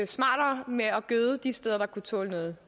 gøde de steder der kunne tåle noget